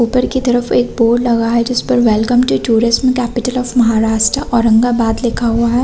ऊपर की तरफ एक बोर्ड लगा है जिस पर welcome to tourist capital of Maharashtra Aurangabad लिखा हुआ है।